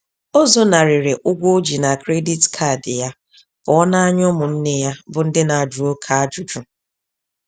O zonarịrị ụgwọ oji na Credit Card ya, pụọ na ányá ụmụ nne ya, bu ndị na-ajụ oke ajụjụ.